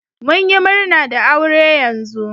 mun yi murna da aure yanzu.